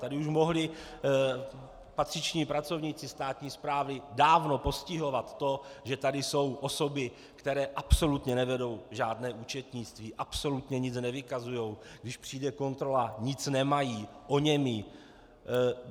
Tady už mohli patřiční pracovníci státní správy dávno postihovat to, že tady jsou osoby, které absolutně nevedou žádné účetnictví, absolutně nic nevykazují, když přijde kontrola, nic nemají, oněmí.